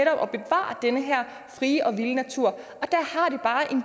frie og vilde natur